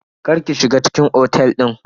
Kar ki shiga cikin otel din.